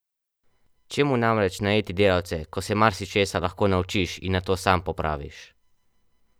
Čemu namreč najeti delavce, ko se marsičesa lahko naučiš in nato sam popraviš!